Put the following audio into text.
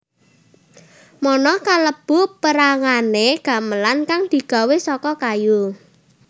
mono kalebu pérangané gamelan kang digawé saka kayu